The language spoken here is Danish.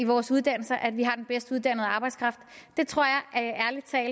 vores uddannelser at vi har den bedst uddannede arbejdskraft det tror